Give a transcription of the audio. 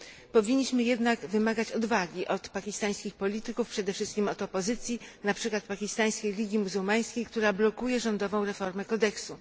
Powinniśmy jednak wymagać odwagi od pakistańskich polityków, przede wszystkim od opozycji, na przykład Pakistańskiej Ligii Muzułmańskiej, która blokuje rządową reformę kodeksu.